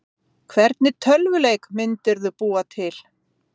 Erla: Hvernig tölvuleik myndirðu búa til?